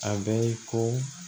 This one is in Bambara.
A bɛ ye ko